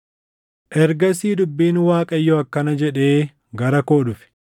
Ergasii dubbiin Waaqayyoo akkana jedhee gara koo dhufe: